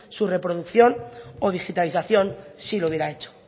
su reproducción o digitalización sí lo hubiera hecho